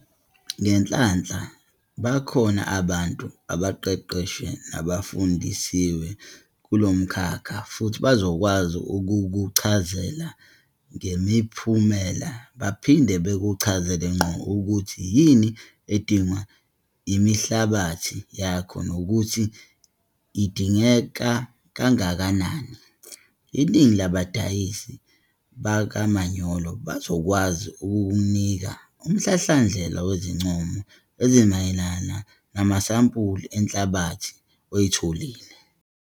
Ngenhlanhla, bakhona abantu abaqeqeshiwe nabafundisiwe kulo mkhakha futhi bazokwazi ukukuchazela ngemiphumela baphinde bakuchazele ngqo ukuthi yini edingwa inhlabathi yakho nokuthi idengeka kangakanani. Iningi labadayisi bakamanyolo bazokwazi ukukunika umhlahlandlela wezincomo ezimayelana namasampuli enhlabathi oyitholile.